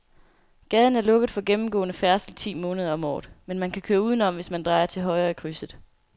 Gaden er lukket for gennemgående færdsel ti måneder om året, men man kan køre udenom, hvis man drejer til højre i krydset.